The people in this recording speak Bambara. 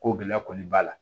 Ko gɛlɛya kɔni b'a la